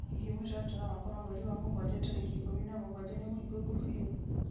hihi mũtaratara wakwa wa mweri wa mũgwanja tarĩki ikũmi na mũgwanja nĩ muhĩngũku biũ